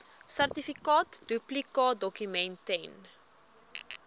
sertifikaat duplikaatdokument ten